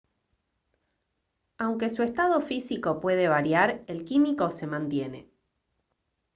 aunque su estado físico puede variar el químico se mantiene